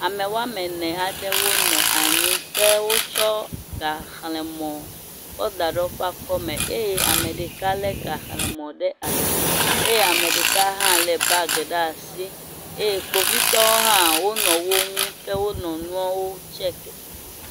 Ame woame ene aɖe wonɔ anyi ke wotsɔ gaxlẽmɔ kɔda ɖe woƒe akɔme eye ameɖeka le gaxlẽmɔ ɖe asi eye ameɖeka hã le bag ɖe asi eye kpovitɔwo hã wonɔ woŋu ke wonɔ nuɔwo check.